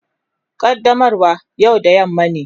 Qaddamarwa yau da yamma ne.